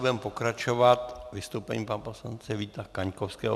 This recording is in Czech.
Budeme pokračovat vystoupením pana poslance Víta Kaňkovského.